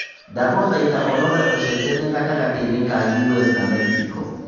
ndagũthaĩtha ũrore ũcenjanĩa gatangati-inĩ ka u.s na mexico